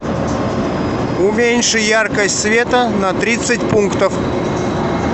уменьши яркость света на тридцать пунктов